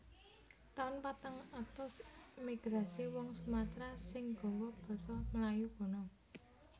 Taun patang atus Migrasi wong Sumatera sing gawa basa Melayu kuno